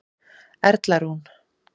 Erla Rún.